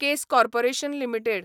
case corporation limited